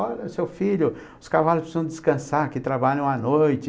Olha, seu filho, os cavalos precisam descansar, que trabalham à noite.